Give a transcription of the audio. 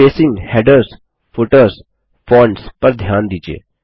spacing headers footers fonts पर ध्यान दीजिये